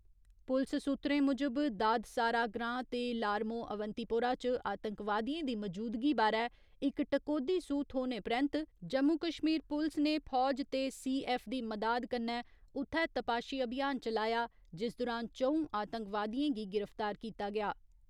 पुलस सूत्तरें मुजब, दादसारा ग्रां ते लारमोह अवंतीपोरा च आतंकवादियें दी मजूदगी बारै इक टकोह्‌दी सूह् थ्होने परैन्त जम्मू कश्मीर पुलस ने फौज ते सी . ऐफ्फ दी मदाद कन्नै उत्थै तपाशी अभियान चलाया जिस दुरान च'ऊं आतंकवादियें गी गिरफ्तार कीता गेआ।